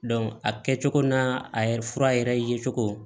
a kɛcogo n'a a yɛrɛ fura yɛrɛ ye cogo